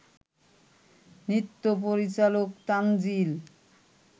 নৃত্য পরিচালক তানজিল